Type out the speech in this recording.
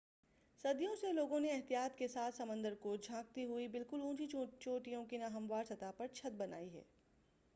صدیوں سے لوگوں نے احتیاط کے ساتھ سمندر کو جھانکتی ہوئی بالکل اونچی چونٹیوں کی نا ہموار سطح پر چھت بنائی ہیں